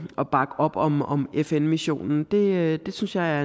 at bakke op om om fn missionen det synes jeg